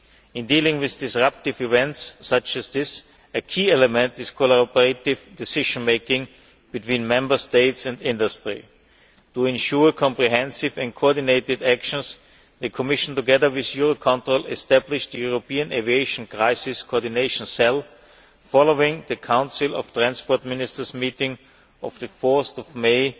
In dealing with disruptive events such as this, a key element is collaborative decision making between Member States and industry. To ensure comprehensive and coordinated actions, the Commission, together with Eurocontrol, established a European Aviation Crisis Coordination Cell, following the Council of Transport Ministers meeting of 4 May